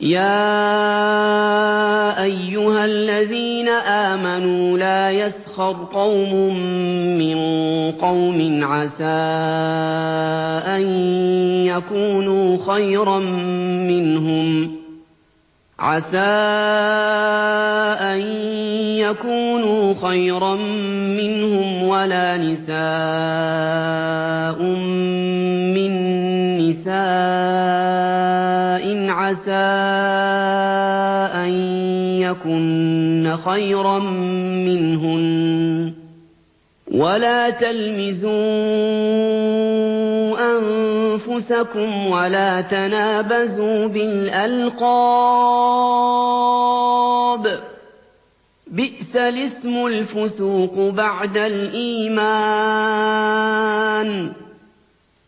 يَا أَيُّهَا الَّذِينَ آمَنُوا لَا يَسْخَرْ قَوْمٌ مِّن قَوْمٍ عَسَىٰ أَن يَكُونُوا خَيْرًا مِّنْهُمْ وَلَا نِسَاءٌ مِّن نِّسَاءٍ عَسَىٰ أَن يَكُنَّ خَيْرًا مِّنْهُنَّ ۖ وَلَا تَلْمِزُوا أَنفُسَكُمْ وَلَا تَنَابَزُوا بِالْأَلْقَابِ ۖ بِئْسَ الِاسْمُ الْفُسُوقُ بَعْدَ الْإِيمَانِ ۚ